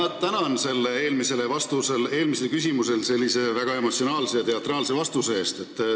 Ma tänan selle väga emotsionaalse ja teatraalse vastuse eest eelmisele küsimusele!